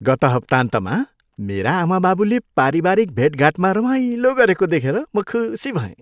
गत हप्ताहन्तमा मेरा आमाबाबुले पारिवारिक भेटघाटमा रमाइलो गरेको देखेर म खुसी भएँ।